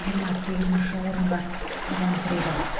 жиырма сегізінші орынға табан тіреді